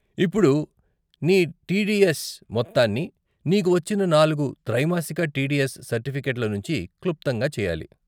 ఇప్పుడు నీ టీడీఎస్ మొత్తాన్ని నీకు వచ్చిన నాలుగు త్రైమాసిక టీడీఎస్ సర్టిఫికెట్ల నుండి క్లుప్తంగా చేయాలి.